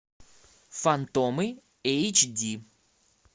фантомы эйч ди